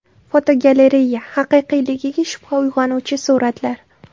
Fotogalereya: Haqiqiyligiga shubha uyg‘onuvchi suratlar.